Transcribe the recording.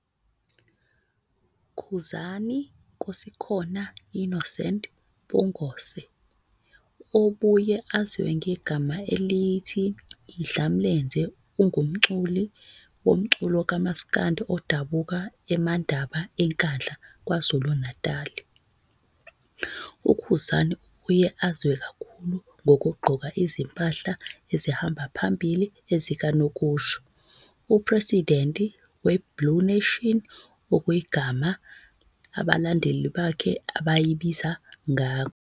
Khuzani Nkosikhona Innocent Mpungose, 03 ngoZibandlela 1989. obuye aziwe ngegama elithi Idlamlenze ungumculi womculo kaMas'kandi odabuka Emandaba eNkandla, KwaZulu-Natali. UKhuzani ubuye aziwe kakhulu ngokuqgoka izimphahla ezihamba phambili zikanokusho.upresidenti we-blue nation, okuyigama abalandeli bakhe abayibiza ngakho.